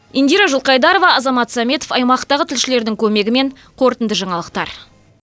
индира жылқайдарова азамат сәметов аймақтағы тілшілердің көмегімен қорытынды жаңалықтар